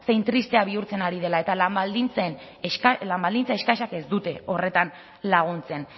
zein tristea bihurtzen ari dela eta lan baldintza eskasek ez dute horretan laguntzen